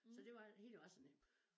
Så det var det hele var sådan lidt